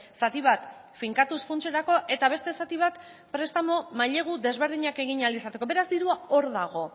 zati bat finkatuz funtserako eta beste zati bat prestamu mailegu desberdinak egin ahal izateko beraz dirua hor dago